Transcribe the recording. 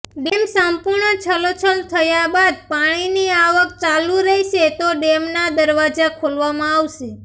dam સંપૂર્ણ છલોછલ થયા બાદ પાણીની આવક ચાલુ રહેશે તો ડેમના દરવાજા ખોલવામાં આવશે